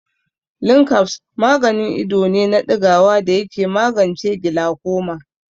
Linkabs maganin ido ne na ɗigawa da yake magance gilakoma.